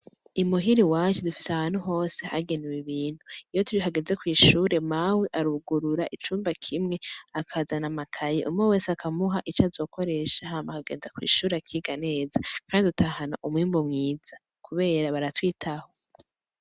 I muhira iwacu dufise ahantu hose hagenewe ibintu, iyo hageze kwishure, mawe arugurura icumba kimwe akazana amakaye, umwe wese akamuha ico azokoresha hama akagenda kw'ishure akiga neza kandi dutahana umwimbu mwiza kubera baratwitaho.